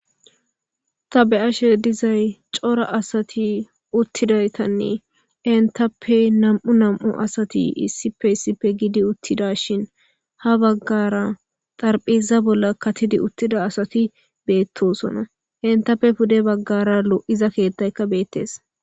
Tabe'ashe dizay cora asati uttidaytanne entappe namu nam'u asati issipe issippe gidi uttida shin ha baggara xarphiza bolla katidi uttida asati beettosona entappe pude baggara lo'iza keettaykka beettees